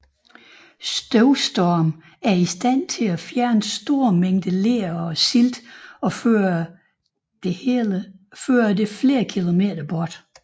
Støvstorme er i stand til at fjerne store mængder ler og silt og føre det flere hundrede km bort